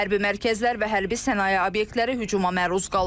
Hərbi mərkəzlər və hərbi sənaye obyektləri hücuma məruz qalıb.